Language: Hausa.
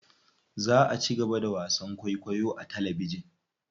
Za a cigaba da wasan kwaikwayo a talabijin.